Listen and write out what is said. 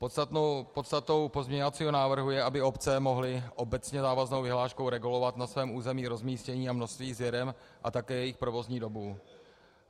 Podstatou pozměňovacího návrhu je, aby obce mohly obecně závaznou vyhláškou regulovat na svém území rozmístění a množství sběren a také jejich provozní dobu.